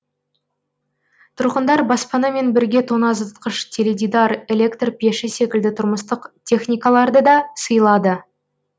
тұрғындар баспанамен бірге тоңазытқыш теледидар электр пеші секілді тұрмыстық техникаларды да сыйлады